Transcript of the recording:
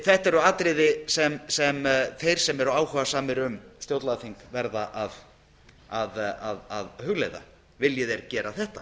þetta eru atriði sem þeir sem eru áhugasamir um stjórnlagaþing verða að hugleiða vilji þeir gera þetta